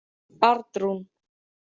Arnrún